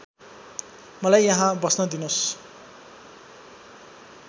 मलाई यहींँ बस्न दिनोस्